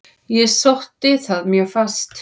Ég sótti það mjög fast.